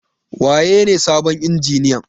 Waye ne sabon injiniyan?